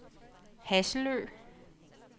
Hasselø